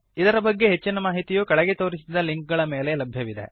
ಇದರ ಬಗ್ಗೆ ಹೆಚ್ಚಿನ ಮಾಹಿತಿಯು ಕೆಳಗೆ ತೋರಿಸಿದ ಲಿಂಕ್ ಗಳ ಮೇಲೆ ಲಭ್ಯವಿದೆ